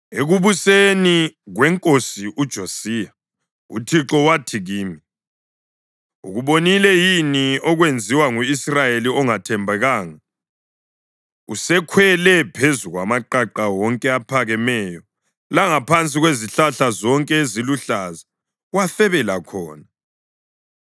Ekubuseni kwenkosi uJosiya, uThixo wathi kimi, “Ukubonile yini okwenziwe ngu-Israyeli ongathembekanga? Usekhwele phezu kwamaqaqa wonke aphakemeyo langaphansi kwezihlahla zonke eziluhlaza wafebela khona.